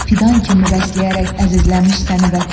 Fidan kimi bəsləyərək əzizləmiş səni Vətən.